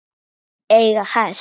Eiga hest.